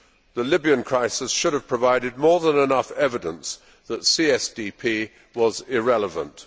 The Libyan crisis should have provided more than enough evidence that CSDP was irrelevant.